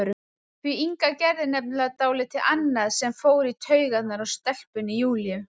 Því Inga gerði nefnilega dálítið annað sem fór í taugarnar á stelpunni Júlíu.